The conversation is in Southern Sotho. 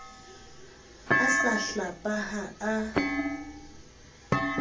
a sa hlapa ha a